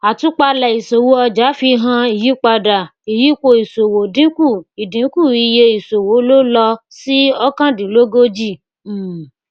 àwọn ìlànà yìí pàtàkì fún dídojúkọ àwọn ìṣòro ìkòwòjáde owó ìṣòro ìkòwòjáde owó ilẹ òkèèrè nàìjíríà